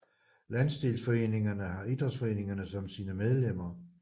Landsdelsforeningerne har idrætsforeningerne som sine medlemmer